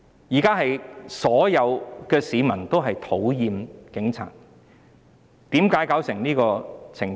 現在所有市民都討厭警察，為何弄得這個地步？